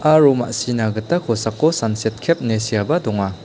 aro ma·sina gita kosako sanset kep ine seaba donga.